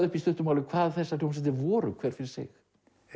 upp í stuttu máli hvað þessar hljómsveitir voru hver fyrir sig